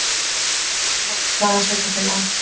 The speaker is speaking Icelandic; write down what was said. Alvarleg staða sveitarfélaga